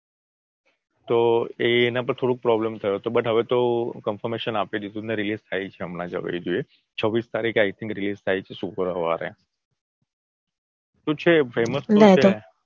તો એના પર થોડું problem થયો તો but હવે તો confirmation આપ્યું દીધું ને release થાય છે હમણાં જોઈએ છવ્વીસ તારીખે I think થાય છે શુક્રવારે. તો છે famous તો છે.